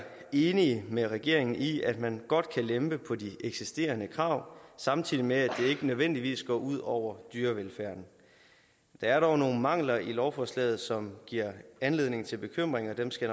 enige med regeringen i at man godt kan lempe på de eksisterende krav samtidig med at det ikke nødvendigvis går ud over dyrevelfærden der er dog nogle mangler i lovforslaget som giver anledning til bekymring og dem skal